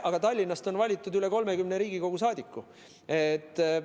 Aga Tallinnast on valitud üle 30 Riigikogu liikme.